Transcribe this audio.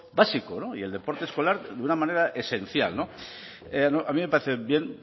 básico y el deporte escolar de una manera esencial no a mí me parece bien